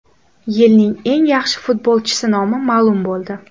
Yilning eng yaxshi futbolchisi nomi ma’lum bo‘ldi.